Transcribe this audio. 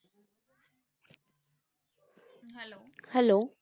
Hello